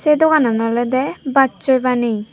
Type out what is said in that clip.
se doganan olode bachoi baneye.